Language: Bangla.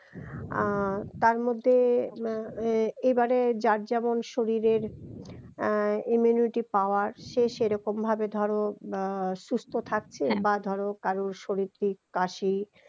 আহ তার মধ্যে আহ এবারে যার যেমন শরীরের আহ immunity power সেই সেরকম ভাবে ধরো আহ সুস্থ থাকছে হ্যা বা ধরো কারো সর্দি কাশি